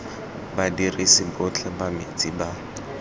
badirisi botlhe ba metsi ba